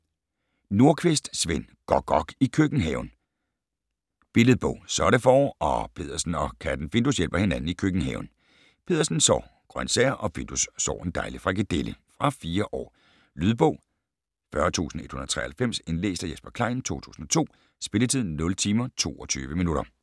Nordqvist, Sven: Gok-gok i køkkenhaven Billedbog. Så er det forår, og Peddersen og katten Findus hjælper hinanden i køkkenhaven. Peddersen sår grøntsager, og Findus sår en dejlig frikadelle. Fra 4 år. Lydbog 40193 Indlæst af Jesper Klein, 2002. Spilletid: 0 timer, 22 minutter.